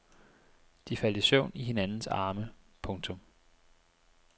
De faldt i søvn i hinandens arme. punktum